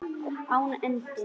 Án endis.